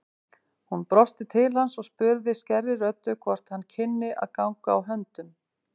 Hún brosti til hans og spurði skærri röddu hvort hann kynni að ganga á höndum.